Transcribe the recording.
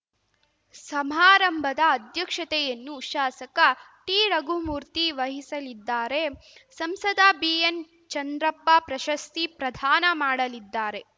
ಸಮಾರಂಭದ ಅಧ್ಯಕ್ಷತೆಯನ್ನು ಶಾಸಕ ಟಿರಘುಮೂರ್ತಿ ವಹಿಸಿಲಿದ್ದಾರೆ ಸಂಸದ ಬಿಎನ್‌ಚಂದ್ರಪ್ಪ ಪ್ರಶಸ್ತಿ ಪ್ರದಾನ ಮಾಡಲಿದ್ದಾರೆ